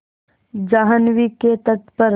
जाह्नवी के तट पर